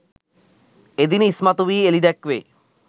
එදින ඉස්මතු වී එළිදැක්වේ.